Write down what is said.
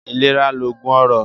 Ilera loogun ọrọ